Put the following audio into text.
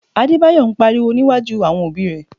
Adébáyọ̀ ń Purọ́ níwájú àwọn òbí rẹ̀